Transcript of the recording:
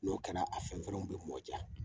N'o kɛra a fɛnfɛrɛnw bɛ mɔdiya